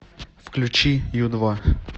включи ю два